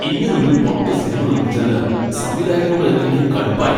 ഇങ്ങനൊരു പൊട്ട സിനിമ നിർമ്മിച്ചതിന് സംവിധായകനോട് എനിക്ക് കടുപ്പായി.